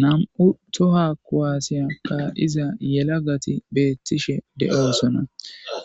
Nam'u toha koaasiya ka iza yela gati beettishe de'oosona